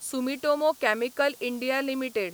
Sumitomo chemical India limited